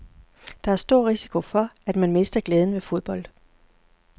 Der er stor risiko for, at man mister glæden ved fodbold.